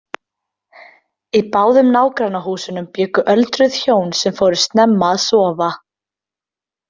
Í báðum nágrannahúsunum bjuggu öldruð hjón sem fóru snemma að sofa.